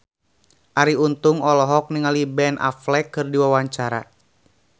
Arie Untung olohok ningali Ben Affleck keur diwawancara